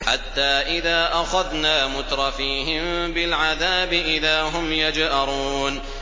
حَتَّىٰ إِذَا أَخَذْنَا مُتْرَفِيهِم بِالْعَذَابِ إِذَا هُمْ يَجْأَرُونَ